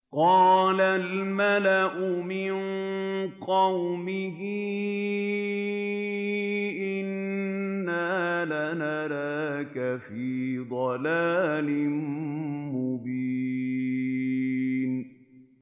قَالَ الْمَلَأُ مِن قَوْمِهِ إِنَّا لَنَرَاكَ فِي ضَلَالٍ مُّبِينٍ